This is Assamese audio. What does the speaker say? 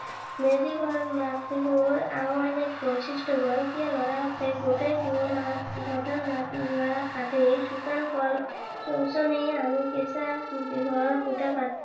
মেজি ঘৰ মাঘ বিহুৰ অইন এক বৈশিষ্ট্য। গৰখীয়া লৰাহতে গোটেই পুহ মাহটোত পথাৰৰ শুকান নৰা কাটি শুকান গছ গছনি আনি কেচা বাহৰ খুটা পাতি